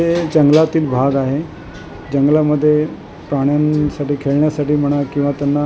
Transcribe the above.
ते जंगलातील भाग आहे जंगलामध्ये प्राण्यांसाठी खेळण्यासाठी म्हणा किंवा त्यांना --